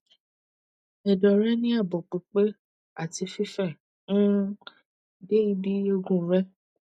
edo re ni abo pipe ati fife um de ibi eegun re